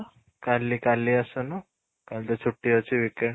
କାଲି କାଲି ଆସୁନୁ କାଲି ତୋ ଛୁଟି ଅଛି weekend